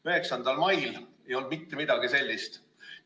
9. mail ei olnud mitte midagi sellist.